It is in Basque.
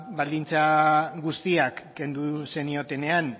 baldintza guztiak kendu zeniotenean